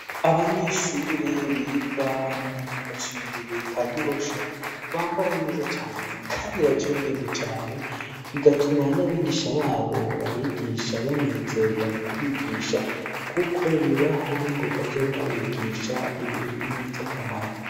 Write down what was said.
Abanyeshure biga mu gacimbiri ka gihosha bambaraneza cane, kandi bacaye ubwenge cane bigatuma n'abigisha babo babigisha banezerwa mu kubigisha, kuko bibaha n'ingoga zo mwbabigisha ibintu vy'akamaro.